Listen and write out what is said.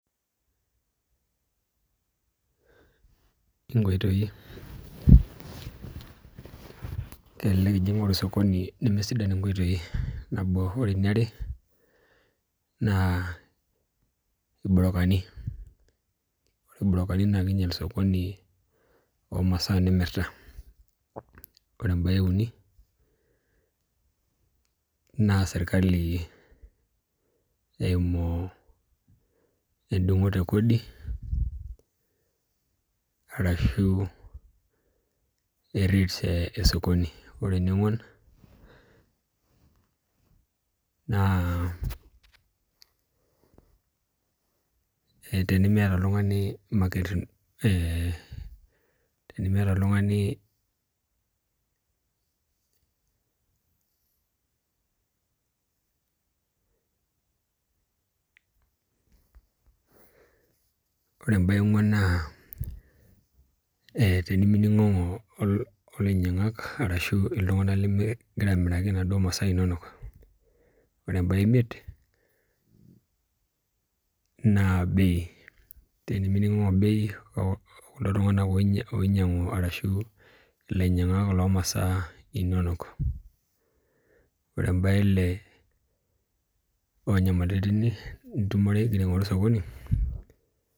kelelek ijing' osokoni lemeisidai nabo, ore eniara naa ilburukani ore ilburukani naa king'ial sokoni oomasaa nimirta, ore ebaye euni naa sirikali eeimu edung'oto ekodi arashu eril esokoni , ore ene onguon naa tinimiyata oltung'ani , naa tinimining'unono olainyang'ak arashu iltung'anak ligira amiraki imasaa inonok , ore ebaye eimiet naa bei tinimining'okinono okulo tung'anak oinyang'u arashu ilanyiang'ak loomasaa inonok , ore ebaye ele onyamalritin inonok .